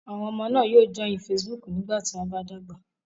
Àwọn ọmọ náà yóò joil Facebook nígbà tí wọ́n bá dàgbà.